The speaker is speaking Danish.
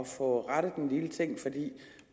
få rettet en lille ting for